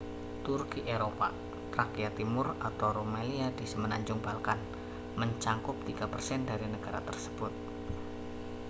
turki eropa trakia timur atau rumelia di semenanjung balkan mencakup 3% dari negara tersebut